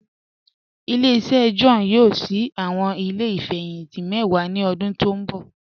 Ile-iṣẹ John yoo ṣii awọn ile ifẹhinti mẹ́wà ni ọ̀dún tó nbọ̀.